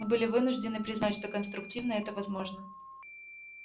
мы были вынуждены признать что конструктивно это возможно